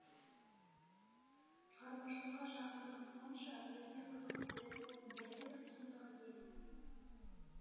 шығармашылыққа жақындығым сонша өзіме қызықты сурет болсын бірде бір туындыға ие емеспін